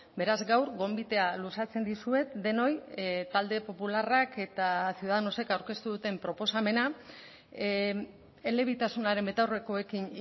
beraz gaur gonbitea luzatzen dizuet denoi talde popularrak eta ciudadanosek aurkeztu duten proposamena elebitasunaren betaurrekoekin